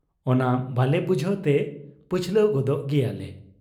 ᱚᱱᱟ ᱵᱟᱞᱮ ᱵᱩᱡᱷᱟᱹᱣᱛᱮ ᱯᱟᱹᱪᱷᱞᱟᱹ ᱜᱚᱫᱳᱜ ᱜᱮᱭᱟᱞᱮ ᱾